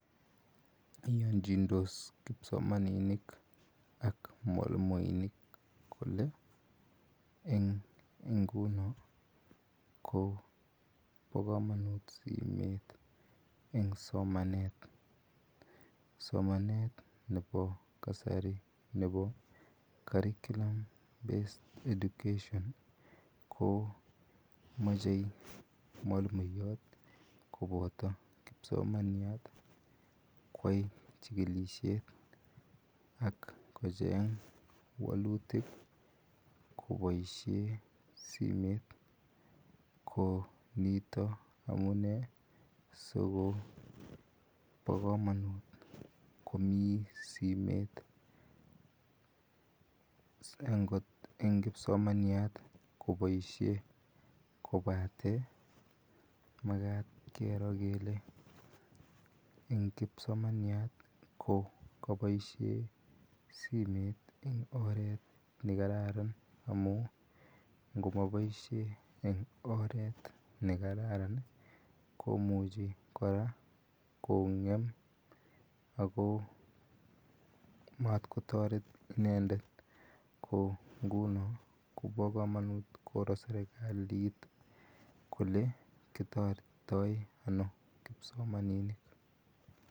Iyanchindos kipsomaninik ak mwalimuinik kole eng kuu noon ko boo kamanut simeet eng somanet somanet nebo kasari nebo [curriculum based education] ko machei mwalimuyaat kobataa kipsomaniat koyai chikilisheet ak kocheng walutiik koboisien simeet ko nitoon amunei siko bo kamanut komii simeet eng kipsomaniat koboisien makaat keror kele eng kipsomaniat ko kaboisen simeet eng orett ne kararan amuun ingomaboisien eng oret nekararaan ii komuchii kora ko gem ako matkotaret inendet nguni kobaa kamanuut koror serikaliit kole kotaretii ano kipsomaninik.